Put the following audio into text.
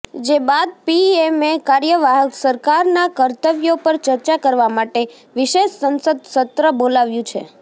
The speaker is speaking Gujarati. જે બાદ પીએમએ કાર્યવાહક સરકારના કર્તવ્યો પર ચર્ચા કરવા માટે વિશેષ સંસદ સત્ર બોલાવ્યું છે